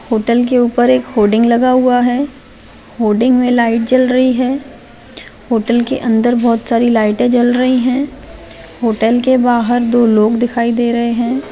Hotel के ऊपर एक होर्डिंग लगा हुआ है होर्डिंग में लाइट जल रही है होटल के अंदर बहुत सारी लाइटे जल रही है होटल के बाहर दो लोग दिखाई दे रहे है।